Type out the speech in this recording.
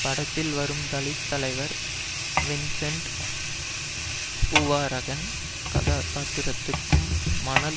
படத்தில் வரும் தலித் தலைவர் வின்சென்ட் பூவராகன் கதாபாத்திரத்துக்கும் மணல்